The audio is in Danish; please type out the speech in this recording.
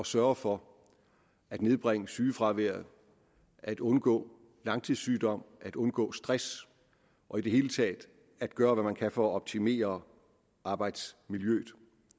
sørge for at nedbringe sygefraværet at undgå langtidssygdom at undgå stress og i det hele taget at gøre hvad man kan for at optimere arbejdsmiljøet